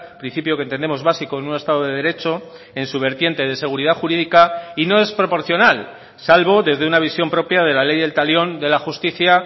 principio que entendemos básico en un estado de derecho en su vertiente de seguridad jurídica y no es proporcional salvo desde una visión propia de la ley del talión de la justicia